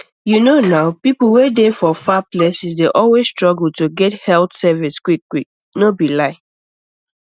you know nah people wey dey for far places dey always struggle to get health service quickquick no be lie